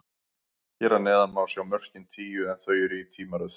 Hér að neðan má sjá mörkin tíu, en þau eru í tímaröð.